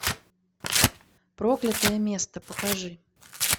проклятое место покажи